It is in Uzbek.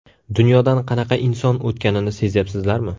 Dunyodan qanaqa inson o‘tganini sezyapsizlarmi?